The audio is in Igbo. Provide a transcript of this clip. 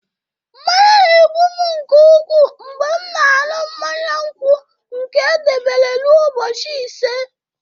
Mmanya na-egbu m nke ukwuu mgbe m na-aṅụ mmanya nkwụ nke e debere ruo ụbọchị ise